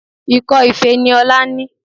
Ikọ́ ife ni Ọlá ní